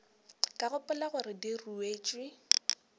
ka gopola gore di ruetšwe